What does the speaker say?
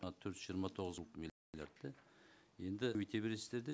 мына төрт жүз жиырма тоғыз енді өте бересіздер де